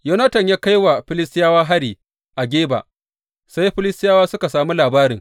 Yonatan ya kai wa Filistiyawa hari a Geba, sai Filistiyawa suka sami labarin.